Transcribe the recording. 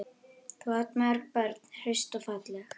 Þú átt mörg börn, hraust og falleg.